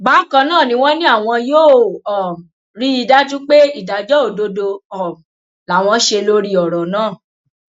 bákan náà ni wọn ní àwọn yóò um rí i dájú pé ìdájọ òdodo um làwọn ṣe lórí ọrọ náà